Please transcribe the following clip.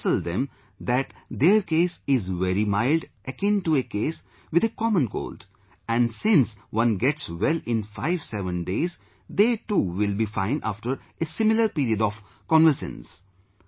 We counsel them that their case is very mild akin to a case with a common cold and since one gets well in fiveseven days, they too will be fine after a similar period of convalescence